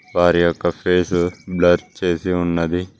వారి యొక్క face blur చేసి ఉన్నది.